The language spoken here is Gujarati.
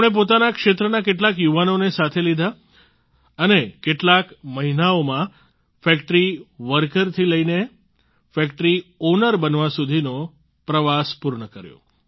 તેમણે પોતાના ક્ષેત્રના કેટલાક યુવાનોને સાથે લીધા અને કેટલાક મહિનાઓમાં જ ફેક્ટરી વર્કરથી લઈને ફેક્ટરી ઓનર બનવા સુધીનો પ્રવાસ પૂર્ણ કર્યો